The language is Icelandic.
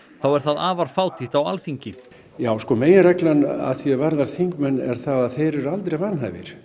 er það afar fátítt á Alþingi já meginreglan að því er varðar þingmenn er að þeir eru aldrei vanhæfir